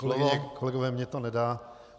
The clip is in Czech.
Kolegyně, kolegové, mně to nedá.